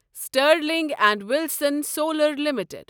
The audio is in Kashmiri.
Sterling and Wilson solar limited